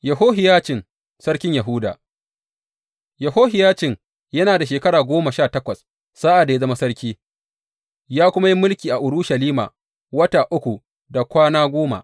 Yehohiyacin sarkin Yahuda Yehohiyacin yana da shekara goma sha takwas sa’ad da ya zama sarki, ya kuma yi mulki a Urushalima wata uku da kwana goma.